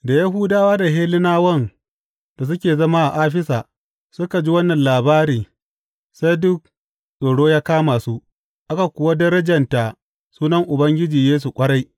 Da Yahudawa da Hellenawan da suke zama a Afisa suka ji wannan labari sai duk tsoro ya kama su, aka kuwa darjanta sunan Ubangiji Yesu ƙwarai.